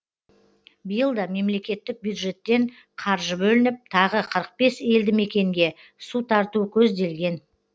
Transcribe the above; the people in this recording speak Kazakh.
биыл да мемлекеттік бюджеттен қаржы бөлініп тағы қырық бес елді мекенге су тарту көзделген